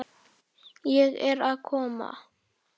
Ég er að koma